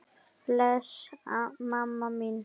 Bless mamma mín.